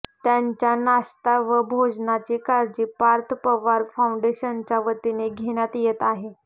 त्यांच्या नाश्ता व भोजनाची काळजी पार्थ पवार फाऊंडेशनच्या वतीने घेण्यात येत आहे